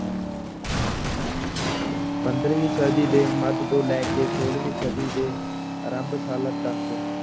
ਪੰਦਰਵੀਂ ਸਦੀ ਦੇ ਮੱਧ ਤੋਂ ਲੈ ਕੇ ਛੋਲਵੀਂ ਸਦੀ ਦੇ ਆਰੰਭ ਸਾਲਾਂ ਤੱਕ